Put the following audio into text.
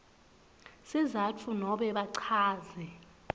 sizatfu nobe bachaze